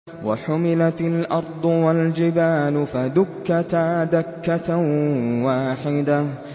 وَحُمِلَتِ الْأَرْضُ وَالْجِبَالُ فَدُكَّتَا دَكَّةً وَاحِدَةً